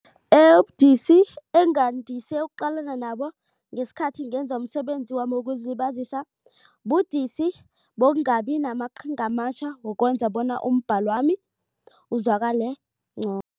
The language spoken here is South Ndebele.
Ubudisi engandise ukuqalana nabo ngesikhathi ngenza umsebenzi wami wokuzilibazisa budisi bokungabi namaqhinga amatjha wokwenza bona umbhalwami uzwakale